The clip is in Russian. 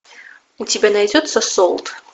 у тебя найдется солд